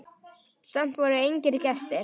Samt voru engir gestir.